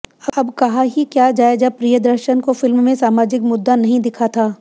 अब क्या ही कहा जाए जब प्रियदर्शन को फिल्म में सामाजिक मुद्दा नहीं दिखा था